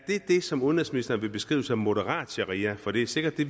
det som udenrigsministeren vil beskrive som moderat sharia for det er sikkert det